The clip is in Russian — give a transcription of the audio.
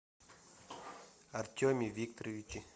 артеме викторовиче